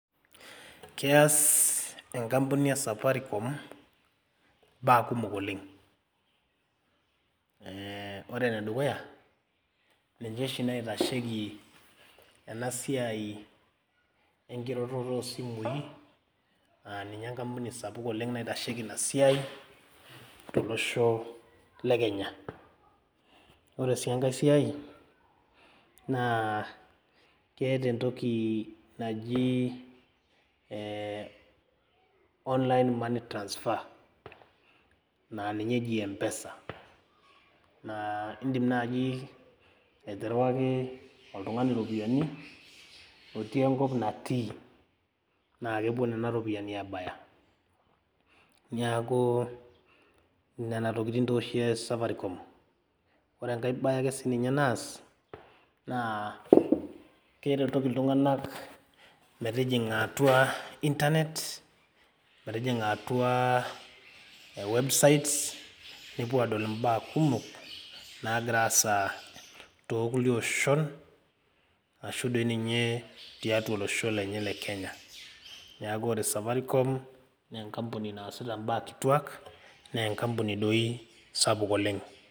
Keas enkampuni esafaricom imbaa kumok oleng eh ore enedukuya ninche oshi naitasheiki ena siai ekiroroto oo simui naa ninye ekapuni naitasheiki ina siai to losho le Kenya ore si enkae siai naa keata etoki naji eh online money transfer naa ninye eji empesa naa idim naaji aterewaki oltungani iropiyani otii enkop natii naa kepuo Nena ropiyani aabaya niaku nena tokitin tooshi eas safaricom ore enkae bae ake sininye neas naa keretoki iltunganak metijinga atua iitanet metijinga atua ee website nepuo adol imbaa kumok nagira aasa to kulie oshon ashu dii ninye tiatua olosho le Kenya neaku ore safaricom naa ekapuni naasita imba a kituak naa ekapuni doi sapuk oleng.